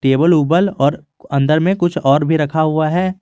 Cable ओबल और अंदर में कुछ और भी रखा हुआ है।